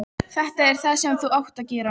Þetta er það sem þú átt að gera.